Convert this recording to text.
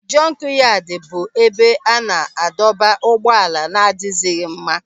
Jọnkyadi bụ ebe a na-adọba ụgbọala na-adịghịzi mma.